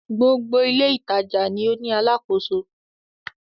Gbogbo ilé-ìtajà ni ó ní alákòóso.